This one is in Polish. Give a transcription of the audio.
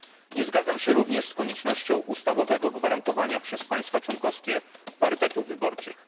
Nie zgadzam się również z koniecznością ustawowego gwarantowania przez państwa członkowskie parytetów wyborczych.